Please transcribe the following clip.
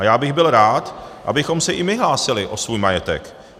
A já bych byl rád, abychom se i my hlásili o svůj majetek.